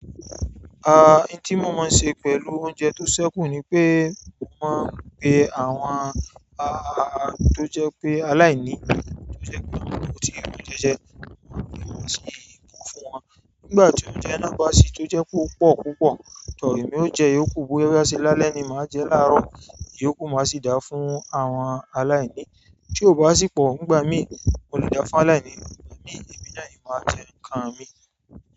Oun tí mo máa ń ṣe pẹ̀lú oúnjẹ tó sẹ́kù ni pé mo máa ń pé àwọn tó jẹ́ pé aláìní tó jẹ́ pé àwọn náà kò tíì rí oúnjẹ jẹ, mo máa ń fi ohun ìsìn kún fún wọn. Nígbà tí óunjẹ́ naá bá sì tó jẹ́ pé ó pọ̀ púpọ̀, tọ emi o jẹ iyókú bóyá o ṣe lálẹ́ ni màá jẹ láàárọ̀, iyókù máa sì dá fún àwọn aláìní. Tí ò bá sì pọ̀, nígbà mí, mo lè da fún aláìní, ìgbà mí èmi náà ni màá jẹ ǹkan mi.